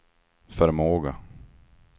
förmåga